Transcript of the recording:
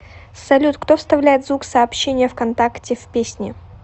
салют кто вставляет звук сообщения вконтакте в песни